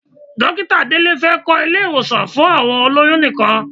Dókítà Délé fẹ́ kọ́ ilé-ìwọ̀sàn fún àwọn olóyún nìkan.